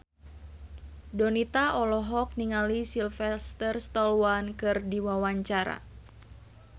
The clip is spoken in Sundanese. Donita olohok ningali Sylvester Stallone keur diwawancara